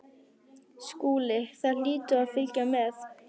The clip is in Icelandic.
SKÚLI: Það hlýtur að fylgja með!